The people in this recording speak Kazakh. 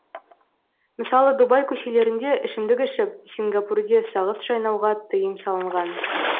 мысалы дубай көшелерінде ішімдік ішіп сингапурде сағыз шайнауға тыйым салынған